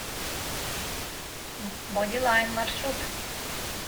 бодилайн маршрут